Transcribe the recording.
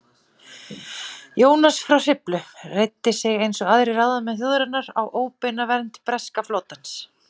Jónas frá Hriflu reiddi sig eins og aðrir ráðamenn þjóðarinnar á óbeina vernd breska flotans.